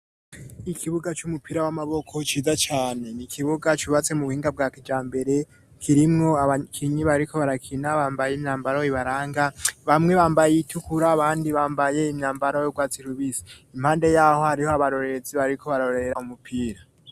Ikibuga cy'umupira w'amaboko ciza cyane ni kibuga cyubatse mu buhinga bwa kija mbere kirimwo abakinyi bariko barakina bambaye imyambaro ibaranga bamwe bambaye yitukura abandi bambaye imyambaro yo bwats irubisi impande yaho hariho abaroreetsi bariko barorera umupira.